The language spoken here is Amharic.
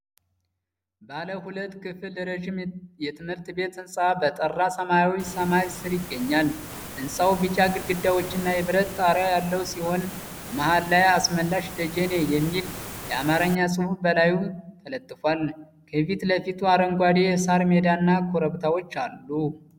ባለ ሁለት ክፍል ረዥም የትምህርት ቤት ህንፃ በጠራ ሰማያዊ ሰማይ ስር ይገኛል። ህንጻው ቢጫ ግድግዳዎችና የብረት ጣሪያ ያለው ሲሆን፣ መሃል ላይ “አስመላሽ ደጀኔ” የሚል አማርኛ ጽሑፍ በላዩ ተለጥፏል። ከፊት ለፊቱ አረንጓዴ የሳር ሜዳና ኮረብታዎች አሉ።